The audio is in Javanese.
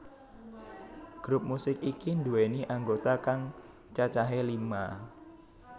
Grup musik iki nduwèni anggota kang cacahé lima